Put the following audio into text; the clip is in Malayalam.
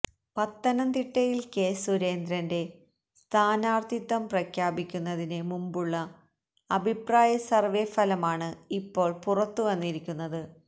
പത്തനംതിട്ടയിൽ കെ സുരേന്ദ്രന്റെ സ്ഥാനാർത്ഥിത്വം പ്രഖ്യാപിക്കുന്നതിന് മുമ്പുള്ള അഭിപ്രായ സർവേ ഫലമാണ് ഇപ്പോൾ പുറത്ത് വന്നിരിക്കുന്നത്